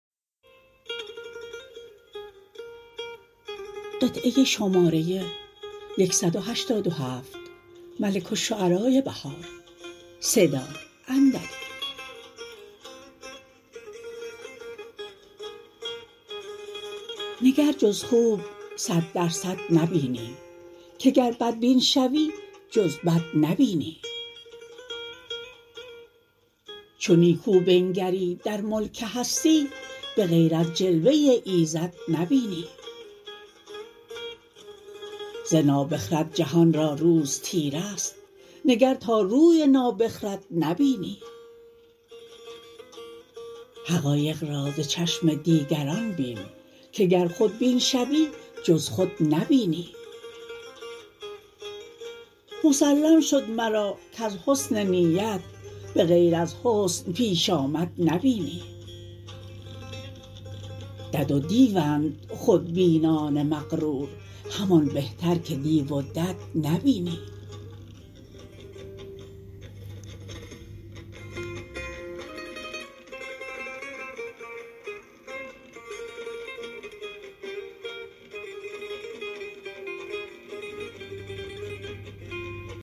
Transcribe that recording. نگر جز خوب صد درصد نبینی که گر بدبین شوی جز بد نبینی چو نیکو بنگری در ملک هستی بغیر از جلوه ایزد نبینی ز نابخرد جهان را روز تیره است نگر تا روی نابخرد نبینی حقایق را ز چشم دیگران بین که گر خودبین شوی جز خود نبینی مسلم شد مرا کز حسن نیت بغیر از حسن پیشامد نبینی دد و دیوند خودبینان مغرور همان بهتر که دیو و دد نبینی